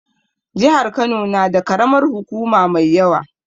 Jihar Kano na da karamar hukuma mai yawa